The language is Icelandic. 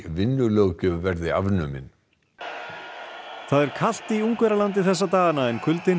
vinnulöggjöf verði afnumin það er kalt í Ungverjalandi þessa dagana en kuldinn